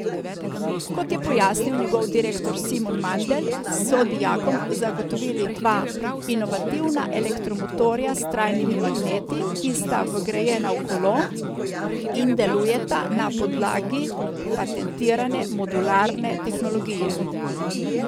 Kot je pojasnil njegov direktor Simon Mandelj, so dijakom zagotovili dva inovativna elektromotorja s trajnimi magneti, ki sta vgrajena v kolo in delujeta na podlagi patentirane modularne tehnologije.